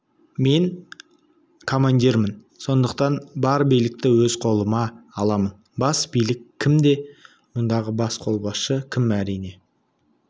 мен командирмін сондықтан бар билікті өз қолыма аламын бас билік кімде мұндағы бас қолбасшы кім әрине